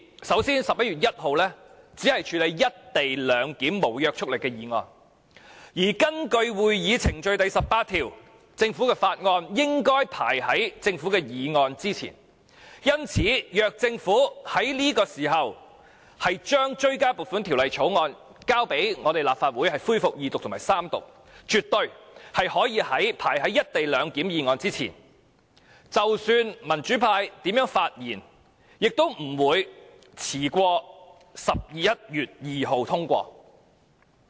首先 ，11 月1日只處理"一地兩檢"無約束力議案，而根據《議事規則》第18條，政府法案應該排在政府議案之前。因此，如果政府在這時候將追加撥款條例草案提交給立法會恢復二讀及三讀，絕對可以排在"一地兩檢"議案之前。即使民主派如何發言，也不會遲於11月2日通過。